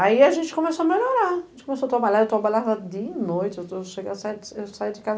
Aí a gente começou a melhorar, a gente começou a trabalhar, eu trabalhava dia e noite, eu chegava saía eu saía de casa